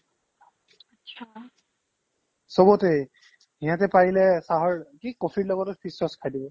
চবতে ইয়াতে পাৰিলে চাহৰ কি coffee ৰ লগতো সি sauce খাই দিব ।